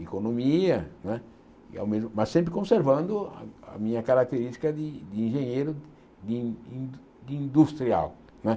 economia, não é e ao mes mas sempre conservando a a minha característica de de engenheiro, de de in industrial. Não é